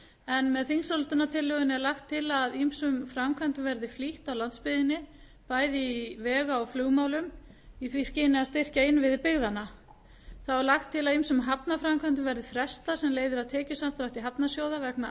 en með þingsályktunartillögunni er lagt til að ýmsum framkvæmdum verði flýtt á landsbyggðinni bæði í vega og flugmálum í því skyni að styrkja innviði byggðanna þá er lagt til að ýmsum hafnarframkvæmdum verði frestað sem leiðir af tekjusamdrætti hafnarsjóða vegna